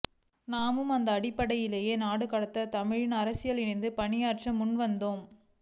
நாமும் அந்த அடிப்படையிலேயே நாடு கடந்த தமிழீழ அரசில் இணைந்து பணியாற்ற முன் வந்துள்ளோம்